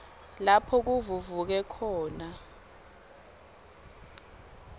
lapho kuvuvuke khona